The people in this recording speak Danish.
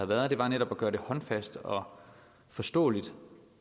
været er netop at gøre det håndfast og forståeligt